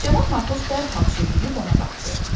Cənab Markov dərhal çevrilib ona baxdı.